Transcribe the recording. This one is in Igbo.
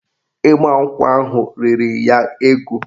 Ịgbankwụ ahụ riri ya ego